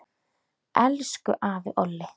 Elsku afi Olli.